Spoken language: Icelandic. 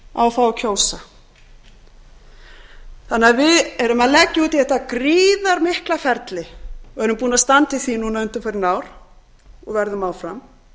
á að fá að kjósa við erum því að leggja út í þetta gríðarmikla ferli og erum búin að standa í því núna undanfarin ár og verðum áfram